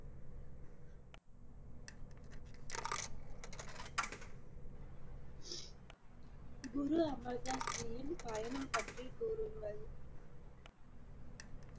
குரு அமர்தாஸ் ஜியின் பயணம் பற்றி கூறுங்கள்